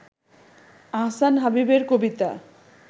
আহসান হাবীবের কবিতা